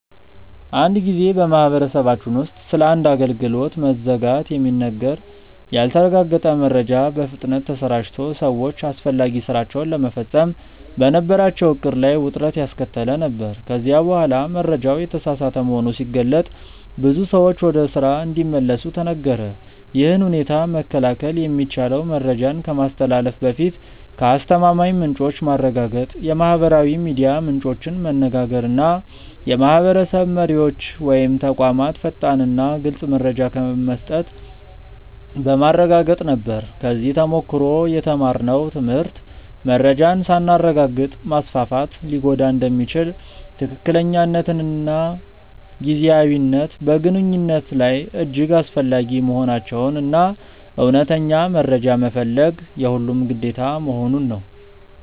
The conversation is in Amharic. አንድ ጊዜ በማህበረሰባችን ውስጥ ስለ አንድ አገልግሎት መዘጋት የሚነገር ያልተረጋገጠ መረጃ በፍጥነት ተሰራጭቶ ሰዎች አስፈላጊ ሥራቸውን ለመፈጸም በነበራቸው ዕቅድ ላይ ውጥረት ያስከተለ ነበር፤ ከዚያ በኋላ መረጃው የተሳሳተ መሆኑ ሲገለጥ ብዙ ሰዎች ወደ ስራ እንዲመለሱ ተነገረ። ይህን ሁኔታ መከላከል የሚቻለው መረጃን ከማስተላለፍ በፊት ከአስተማማኝ ምንጮች ማረጋገጥ፣ የማህበራዊ ሚዲያ ምንጮችን መነጋገር እና የማህበረሰብ መሪዎች ወይም ተቋማት ፈጣንና ግልፅ መረጃ መስጠት በማረጋገጥ ነበር። ከዚህ ተሞክሮ የተማርነው ትምህርት መረጃን ሳናረጋግጥ ማስፋፋት ሊጎዳ እንደሚችል፣ ትክክለኛነትና ጊዜያዊነት በግንኙነት ላይ እጅግ አስፈላጊ መሆናቸውን እና እውነተኛ መረጃ መፈለግ የሁሉም ግዴታ መሆኑን ነው።